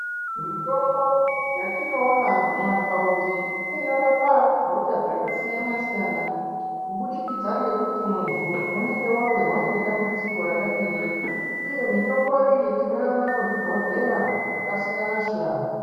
Mitombo yetinoona mumataundi inorapa hosha dzakasiyana siyana kubudzikidza ngekuti muntu unenge wawirwa ngedambudziko rakadini uye mitombo iyi tinoiona kuzvibhohleya zvakasiyana siyana.